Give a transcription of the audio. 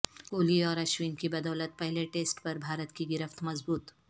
کوہلی اور اشون کی بدو لت پہلے ٹسٹ پر بھارت کی گرفت مضبوط